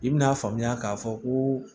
I bi n'a faamuya k'a fɔ koo